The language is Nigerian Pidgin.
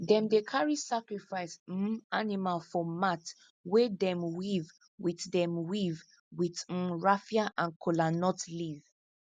them dey carry sacrifice um animal for mat wey them weave with them weave with um raffia and kola nut leaf